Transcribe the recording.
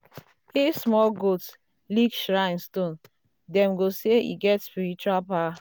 if small goat lick shrine stone dem go say e get spiritual power.